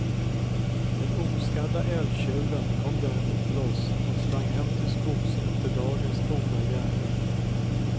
Den oskadda älgtjuren kom däremot loss och sprang hem till skogs efter dagens goda gärning.